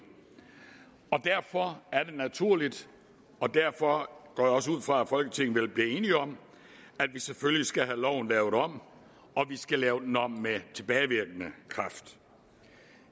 og derfor er det naturligt og derfor går jeg også ud fra at folketinget vil blive enige om at vi selvfølgelig skal have loven lavet om og at vi skal lave den om med tilbagevirkende kraft